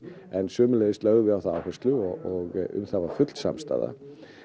sömuleiðis lögðum við á það áherslu og um það var full samstaða